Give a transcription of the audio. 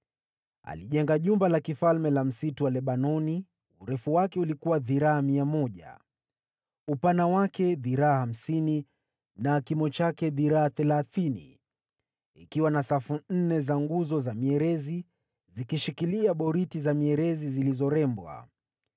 Alijenga Jumba la Kifalme la Msitu wa Lebanoni, urefu wake ulikuwa dhiraa 100, upana wake dhiraa hamsini na kimo chake dhiraa thelathini, likiwa na safu nne za nguzo za mierezi zikishikilia boriti za mierezi zilizorembwa.